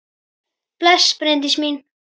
Bless, Bryndís mín!